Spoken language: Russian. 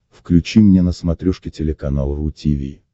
включи мне на смотрешке телеканал ру ти ви